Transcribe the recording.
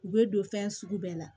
U bɛ don fɛn sugu bɛɛ la